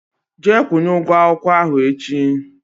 Jee kwunye ụgwọ akwụkwọ ahụ echi!